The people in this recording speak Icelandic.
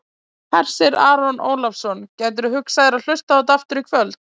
Hersir Aron Ólafsson: Gætirðu hugsað þér að hlusta á þetta aftur í kvöld?